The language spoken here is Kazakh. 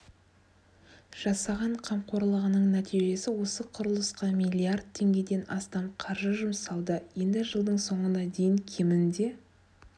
жасаған қамқорлығының нәтижесі осы құрылысқа миллиард теңгеден астам қаржы жұмсалды енді жылдың соңына дейін кемінде